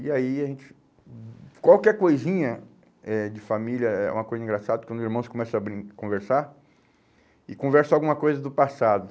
E aí a gente... Qualquer coisinha eh de família é uma coisa engraçada, porque os meus irmãos começam a brin a conversar e conversam alguma coisa do passado.